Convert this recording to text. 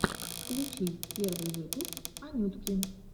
включи первый выпуск анютки